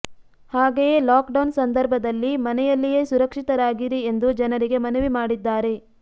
ಹಾಗೆಯೇ lockdown ಸಂದರ್ಭದಲ್ಲಿ ಮನೆಯಲ್ಲಿಯೇ ಸುರಕ್ಷಿತರಾಗಿರಿ ಎಂದು ಜನರಿಗೆ ಮನವಿ ಮಾಡಿದ್ದಾರೆ